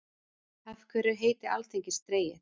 Af hverju er heiti alþingis dregið?